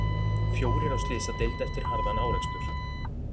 Fjórir á slysadeild eftir harðan árekstur